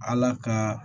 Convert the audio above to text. Ala ka